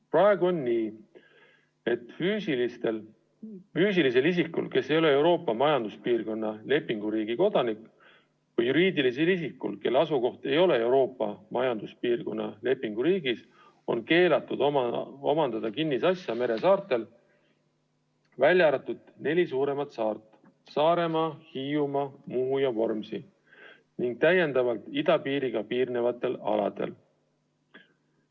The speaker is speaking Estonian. Praegu on nii, et füüsilisel isikul, kes ei ole Euroopa Majanduspiirkonna lepinguriigi kodanik, või juriidilisel isikul, kelle asukoht ei ole Euroopa Majanduspiirkonna lepinguriigis, on keelatud omandada kinnisasja meres asuvatel saartel, välja arvatud neljal suuremal saarel – Saaremaa, Hiiumaa, Muhu ja Vormsi –, ning idapiiriga piirnevatel aladel.